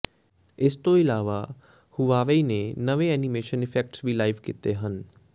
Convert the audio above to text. ਇਸ ਤੋਂ ਇਲਾਵਾ ਹੁਵਾਵੇਈ ਨੇ ਨਵੇਂ ਐਨੀਮੇਸ਼ਨ ਇਫੈਕਟਸ ਵੀ ਲਾਈਵ ਕੀਤੇ ਹਨ